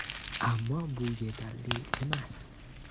Ammo bu yetari emas.